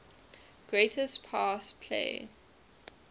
greatest pass play